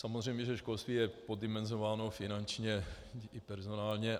Samozřejmě že školství je poddimenzováno finančně i personálně.